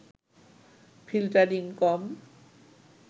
filtering কম